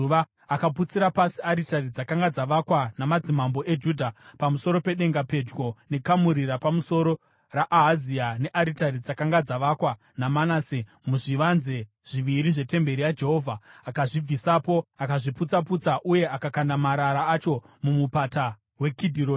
Akaputsira pasi aritari dzakanga dzavakwa namadzimambo eJudha pamusoro pedenga, pedyo nekamuri rapamusoro raAhazia, nearitari dzakanga dzavakwa naManase muzvivanze zviviri zvetemberi yaJehovha. Akadzibvisapo, akadziputsa-putsa uye akakanda marara acho muMupata weKidhironi.